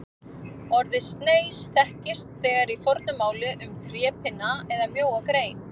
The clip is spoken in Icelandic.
Orðið sneis þekkist þegar í fornu máli um trépinna eða mjóa grein.